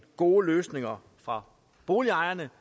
gode løsninger for boligejerne